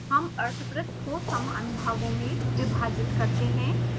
हम अर्धवृत को समान भागों में विभाजित करते हैं